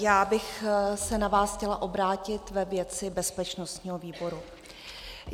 Já bych se na vás chtěla obrátit ve věci bezpečnostní výboru.